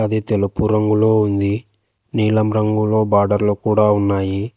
ఇది తెలుపు రంగులో ఉంది నీలం రంగులో బార్డర్లు కూడా ఉన్నాయి.